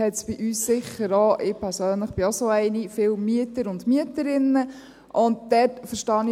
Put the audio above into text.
Es gibt viele Mieter und Mieterinnen, auch ich gehöre dazu.